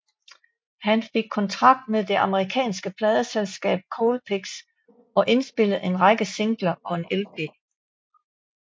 Han fik kontrakt med det amerikanske pladeselskab Colpix og indpillede en række singler og en lp